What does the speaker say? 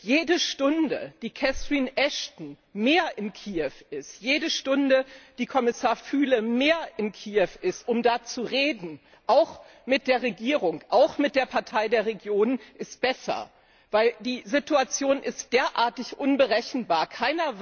jede Stunde, die Catherine Ashton mehr in Kiew ist, jede Stunde, die Kommissar Füle mehr in Kiew ist, um da zu reden auch mit der Regierung, auch mit der Partei der Regionen ist besser, weil die Situation derartig unberechenbar ist.